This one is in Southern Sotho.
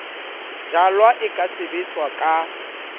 jalwa e ka sebetswa ka